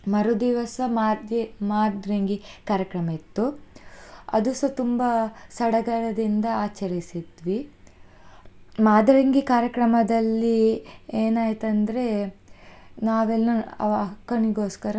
ಮರುದಿವಸ ಮಾದ್ರೆ~ ಮಾದ್ರೆಂಗಿ ಕಾರ್ಯಕ್ರಮ ಇತ್ತು, ಅದುಸ ತುಂಬಾ ಸಡಗರದಿಂದ ಆಚರಿಸಿದ್ವಿ ಮಾದ್ರೆಂಗಿ ಕಾರ್ಯಕ್ರಮದಲ್ಲಿ, ಏನ್ ಆಯ್ತ್ ಅಂದ್ರೆ, ನಾವೆಲ್ಲ ಅಹ್ ಅಕ್ಕನಿಗೋಸ್ಕರ.